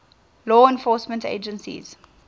law enforcement agencies